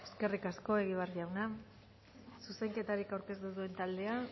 eskerrik asko egibar jauna zuzenketarik aurkeztu ez duen taldea